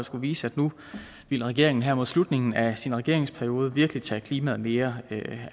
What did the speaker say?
skulle vise at nu ville regeringen her mod slutningen af regeringsperioden virkelig tage klimaet mere